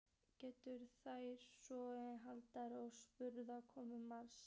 Gengu þau svo um landareignina og spurði komumaður margs.